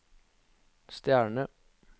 stjerne